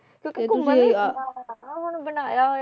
ਤੇ ਉੱਥੇ ਘੁੰਮਣ ਲਈ ਆ ਹੁਣ ਬਣਾਇਆ ਹੋਇਆ ਆ